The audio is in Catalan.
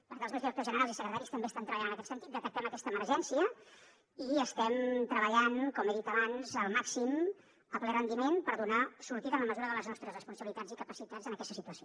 perquè els meus directors generals i secretaris també estan treballant en aquest sentit detectem aquesta emergència i estem treballant com he dit abans al màxim a ple rendiment per donar sortida en la mesura de les nostres responsabilitats i capacitats en aquesta situació